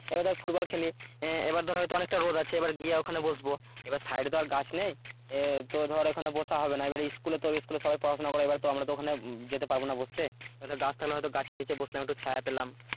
এবার ধর ফুটবল খেলি এবার ধর হয়তো অনেকটা রোদ আছে এবার গিয়ে ওখানে বসব এবার সাইডে তো আর গাছ নেই তো ধর ওখানে বসা হবে না এবার স্কুলে তো স্কুলে সবাই পড়াশোনা করে এবার তো আমরা তো ওখানে যেতে পারবো না বসতে এবার গাছ থাকলে হয়তো গাছের নিচে বসলাম একটু ছায়া পেলাম